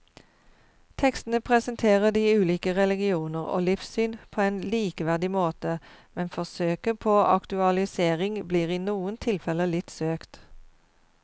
Tekstene presenterer de ulike religioner og livssyn på en likeverdig måte, men forsøket på aktualisering blir i noen tilfeller litt søkt.